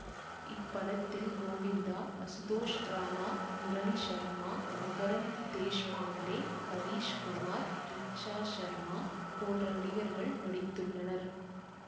இப்படத்தில் கோவிந்தா அசுதோஷ் ரானா முரளி ஷர்மா மகரந்த் தேச்பண்டே கரிஷ் குமார் ரிச்சா சர்மா போன்ற நடிகர்கள் நடித்துள்ளனர்